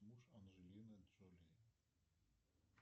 муж анджелины джоли